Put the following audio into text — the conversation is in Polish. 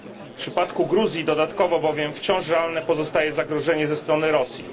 W przypadku Gruzji dodatkowo bowiem wciąż realne pozostaje zagrożenie ze strony Rosji.